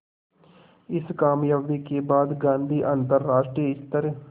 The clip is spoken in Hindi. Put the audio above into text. इस क़ामयाबी के बाद गांधी अंतरराष्ट्रीय स्तर